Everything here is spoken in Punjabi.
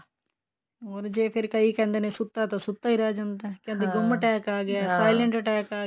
ਹੋਰ ਜੇ ਫੇਰ ਕਈ ਕਹਿੰਦੇ ਨੇ ਜੇ ਸੁਤਾ ਹੈ ਤਾਂ ਸੁੱਤਾ ਹੀ ਰਹੀ ਜਾਂਦਾ attack ਆ ਗਿਆ ਗੁੰਮ attack ਆ ਗਿਆ